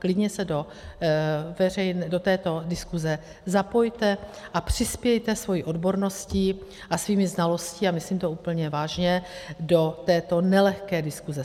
Klidně se do této diskuse zapojte a přispějte svou odborností a svými znalostmi, a myslím to úplně vážně, do této nelehké diskuse.